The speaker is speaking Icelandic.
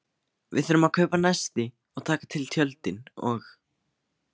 Við þurfum að kaupa nesti og taka til tjöldin og.